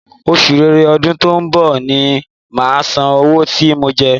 Oṣù ṣẹrẹ ọdún tó ń bọ̀ ni màá san owó tí mo jẹ ẹ́